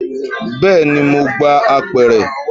Bẹẹni, mo gbé apẹ̀rẹ̀.